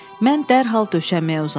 Mən dərhal döşəməyə uzandım.